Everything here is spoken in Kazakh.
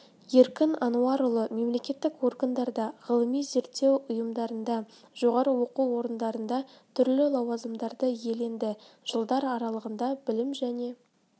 еркін ануарұлы мемлекеттік органдарда ғылыми-зерттеу ұйымдарында жоғары оқу орындарында түрлі лауазымдарды иеленді жылдар аралығында білім және